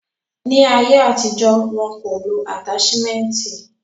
Ni ayé àtijọ́, wo ko lo ataṣimẹnti.